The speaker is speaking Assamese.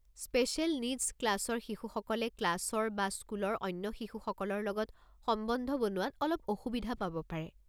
স্পেচিয়েল নীডছ ক্লাছৰ শিশুসকলে ক্লাছৰ বা স্কুলৰ অন্য শিশুসকলৰ লগত সম্বন্ধ বনোৱাত অলপ অসুবিধা পাব পাৰে।